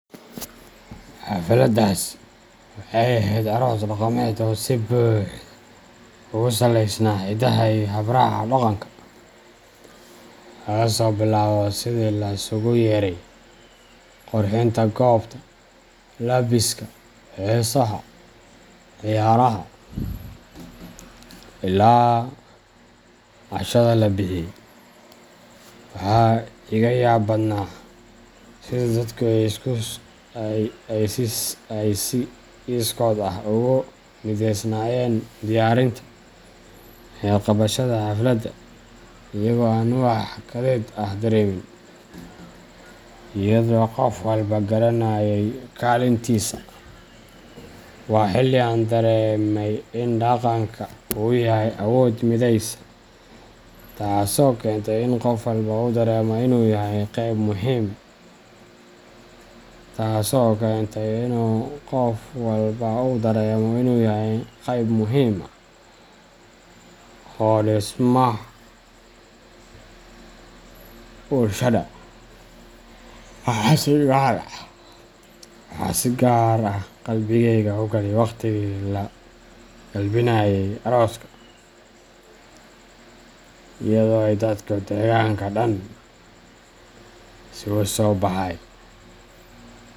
Xafladdaasi waxay ahayd aroos dhaqameed oo si buuxda ugu salaysnaa hiddaha iyo hab raaca dhaqanka, laga soo bilaabo sida la isugu yeeray, qurxinta goobta, labiska, heesaha, ciyaaraha, ilaa cashada la bixiyay. Waxa iiga yaab badnaa sida dadku ay si iskood ah ugu mideysnaayeen diyaarinta iyo qabashada xafladda iyaga oo aan wax kadeed ah dareemin, iyadoo qof walba garanayay kaalintiisa. Waa xilli aan dareemay in dhaqanka uu yahay awood mideysa, taasoo keentay in qof walba uu dareemo inuu yahay qayb muhiim ah oo dhismaha bulshada. Waxaa si gaar ah qalbigayga u galay waqtigii la galbinayay arooska, iyadoo ay dadkii deegaanka dhan isugu soo baxay.